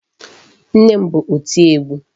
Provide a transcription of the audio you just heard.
Nne ma bụ oti egwu.